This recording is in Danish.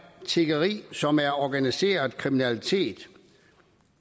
tiggeri som er organiseret kriminalitet